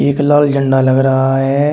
एक लाल झंडा लग रहा है।